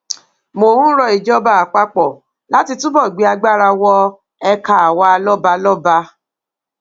mo ń ro ìjọba àpapọ láti túbọ gbé agbára wọ ẹka àwa lọbalọba